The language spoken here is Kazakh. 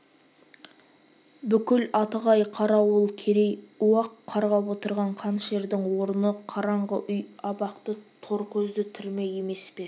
бүкіл атығай-қарауыл керей уақ қарғап отырған қанішердің орны қараңғы үй абақты тор көзді түрме емес пе